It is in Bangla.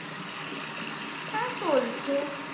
হ্যাঁ, চলছে।